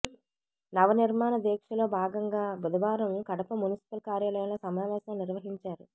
నవ నిర్మాణ దీక్షలో భాగంగా బుధవారం కడప మున్సిపల్ కార్యాలయంలో సమావేశం నిర్వహించారు